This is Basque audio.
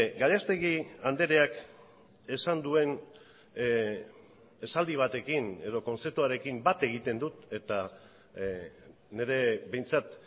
gallastegui andreak esan duen esaldi batekin edo kontzeptuarekin bat egiten dut eta nire behintzat